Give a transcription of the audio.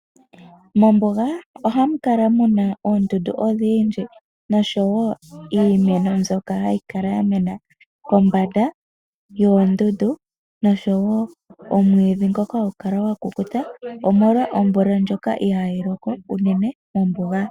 Mombuga oha mu kala mu na oondundu odhindji noshowo iimeno mbyoka hayi kala ya mena kombanda yoondundu noshowo omwiidhi ngoka hagu kala gwa kukuta omolwa omvula ndjoka ihayi loko unene mombuga.